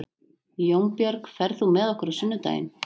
Jónbjörg, ferð þú með okkur á sunnudaginn?